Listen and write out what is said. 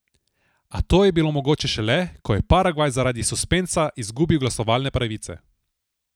A to je bilo mogoče šele, ko je Paragvaj zaradi suspenza izgubil glasovalne pravice.